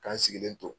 K'an sigilen to